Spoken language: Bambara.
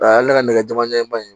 A y'ale ka nɛgɛ jama ɲɛ ban ye